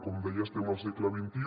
com deia estem al segle xxi